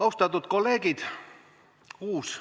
Austatud kolleegid!